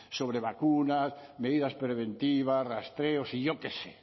sobre vacunas medidas preventivas rastreos y yo qué sé